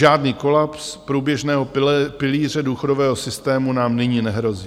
Žádný kolaps průběžného pilíře důchodového systému nám nyní nehrozí.